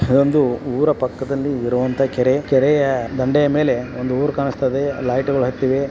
ಇದೊಂದು ಊರ ಪಕ್ಕದಲ್ಲಿ ಇರುವಂತಹ ಕೆರೆ. ಕೆರೆಯ ದಂಡೆಯ ಮೇಲೆ ಒಂದು ಊರು ಕಾಣಸ್ತಾಯಿದೆ. ಲೈಟ್ ಗೊಳ್ ಹತ್ತಿವೆ.